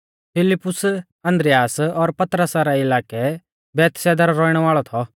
फिलिप्पुस आन्द्रियास और पतरसा रै इलाकै बैतसैदा रौ रौइणै वाल़ौ थौ